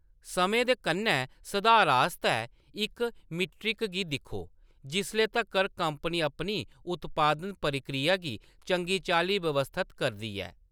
समें दे कन्नै सधार आस्तै इस मीट्रिक गी दिक्खो जिसले तक्कर कंपनी अपनी उत्पादन प्रक्रिया गी चंगी चाल्ली व्यवस्थत करदी ऐ।